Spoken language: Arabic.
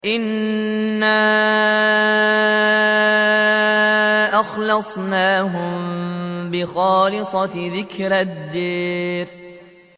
إِنَّا أَخْلَصْنَاهُم بِخَالِصَةٍ ذِكْرَى الدَّارِ